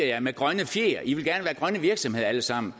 jer med grønne fjer i vil gerne alle sammen